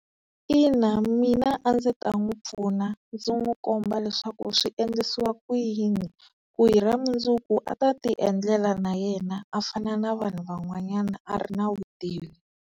Ina mina a ndzi ta n'wi pfuna ndzi n'wi komba leswaku swiendlisiwa ku yini, ku hi ra mundzuku a ta ti endlela na yena a fana na vanhu van'wanyana a ri na vutivi.